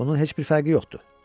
Bunun heç bir fərqi yoxdur.